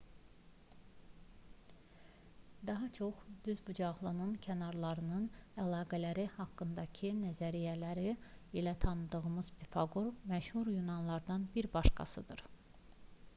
daha çox düzbucaqlının kənarlarının əlaqələri haqqındakı nəzəriyyələri ilə tanıdığımız pifaqor məşhur yunanlılardan bir başqasıdır